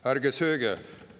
"Ärge sööge!